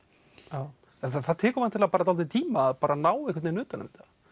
já það tekur væntanlega dálítinn tíma að ná einhvern vegin utan um þetta